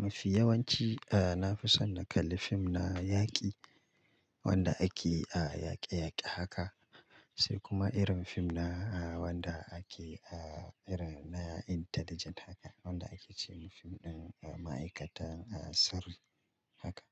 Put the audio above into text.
Mafi yawanci, eh na fi son na kalla fim na yaƙi, wanda ake, ah yaƙe-yaƙe haka sai kuma irin fim na wanda ake ah irin na intelligent haka, wanda ake ce ma fim ɗin ma'aikata sirri haka.